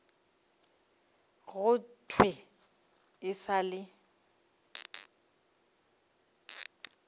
go thwe e sa le